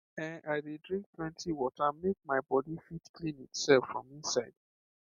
ehn i dey drink plenty water make my body fit clean itself from inside